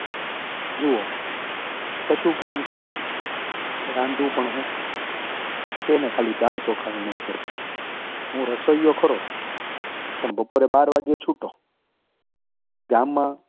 જુઓ કશું કામ છે? રાંધું પણ હું, એને દાળચોખા વીણવા પડે, અને હું રસોઈયો ખરો, પણ બાર વાગે છુટ્ટો. ગામમાં